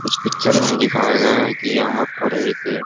इस पिक्चर में दिखाया गया है कि यहाँ पर एक--